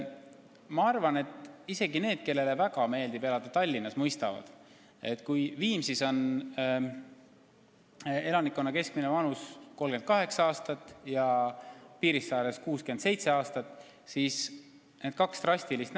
Ma arvan, et isegi need, kellele väga meeldib elada Tallinnas, mõistavad, et kui Viimsis on elanikkonna keskmine vanus 38 aastat ja Piirissaares 67 aastat, siis on pildil midagi valesti.